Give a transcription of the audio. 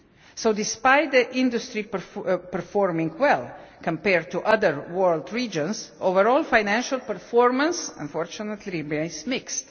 So, despite the industry performing well compared to other world regions, overall financial performance unfortunately remains mixed.